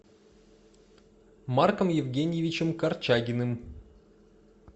марком евгеньевичем корчагиным